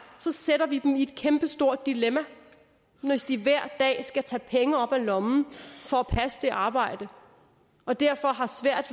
så sætter vi dem i et kæmpestort dilemma hvis de hver dag skal tage penge op af lommen for at passe et arbejde og derfor har svært